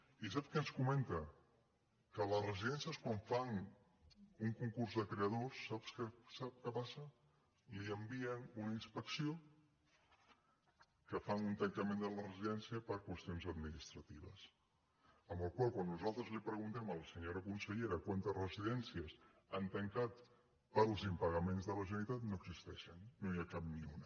i sap què ens comenta que a les residències quan fan un concurs de creditors sap què passa hi envien una inspecció que fan un tancament de la residència per qüestions administratives per la qual cosa quan nosaltres li preguntem a la senyora consellera quantes residènci·es han tancat pels impagaments de la generalitat no existeixen no n’hi ha cap ni una